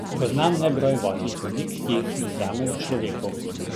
Poznam nebroj votlih oblik, ki jih privzame v človeku.